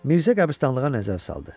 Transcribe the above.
Mirzə qəbirstanlığa nəzər saldı.